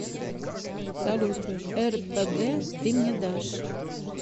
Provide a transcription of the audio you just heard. салют эрпэгэ ты мне дашь